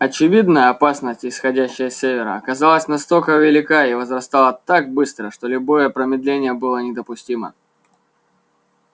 очевидно опасность исходящая с севера оказалась настолько велика и возрастала так быстро что любое промедление было недопустимо